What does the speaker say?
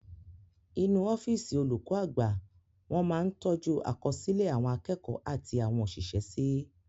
Inú ọ́físì olùkọ́ àgbà wọn máa ń tọ́jú àkọsílẹ̀ àwọn akẹ́kọ̀ọ́ àti àwọn òṣìṣẹ́ sí